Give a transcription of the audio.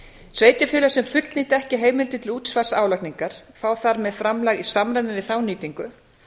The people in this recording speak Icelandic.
sveitarfélög sem fullnýta ekki heimildir til útsvars álagningar fá þar með framlag í samræmi við þá nýtingu